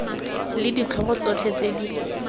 le ditlhogo tsotlhe tse di